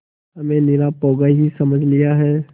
हमें निरा पोंगा ही समझ लिया है